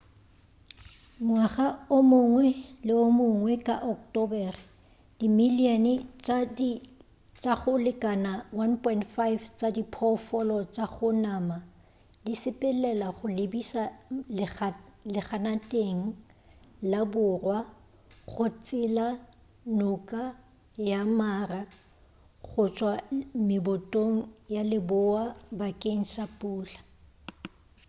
ngwaga o mongwe le o mongwe ka bo ocktobere dimilion tša go lekana 1.5 tša diphoofolo tša go ja nama di sepelela go lebiša leganateng laborwa go tsela noka ya mara go tšwa mebotong ya leboa bakeng sa pula